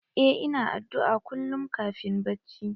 Eh ina addu'a kullum kafin bacci.